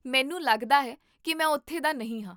ਮੈਨੂੰ ਲੱਗਦਾ ਹੈ ਕੀ ਮੈਂ ਉੱਥੋਂ ਦਾ ਨਹੀਂ ਹਾਂ